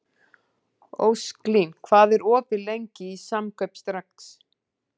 Ósklín, hvað er opið lengi í Samkaup Strax?